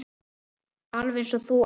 Alveg eins og þú, amma.